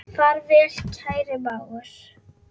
Far vel, kæri mágur.